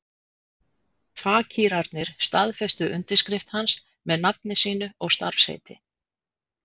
Fakírarnir staðfestu undirskrift hans með nafni sínu og starfsheiti.